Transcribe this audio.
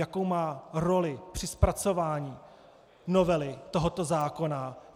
Jakou má roli při zpracování novely tohoto zákona.